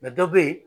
dɔ bɛ yen